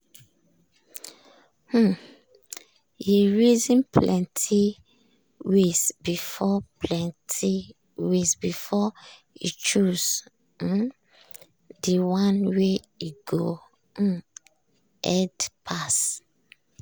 um he reason plenty ways before plenty ways before he choose um the one wey go um head pass.